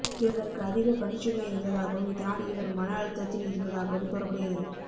இவருக்கு அதிக பணிச்சுமை இருந்ததாகவும் இதனால் இவர் மன அழுத்தத்தில் இருந்ததாகவும் கூறப்படுகிறது